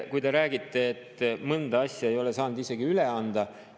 Te räägite, et mõnda asja ei ole saanud isegi üle anda.